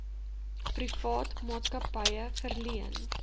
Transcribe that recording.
privaat maatskappye verleen